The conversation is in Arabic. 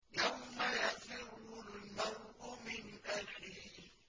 يَوْمَ يَفِرُّ الْمَرْءُ مِنْ أَخِيهِ